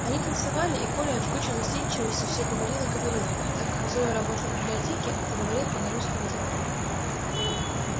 они танцевали и коля от жгучей застенчивости все говорил и говорил а так как зоя работала в библиотеке то говорил он о русской литературе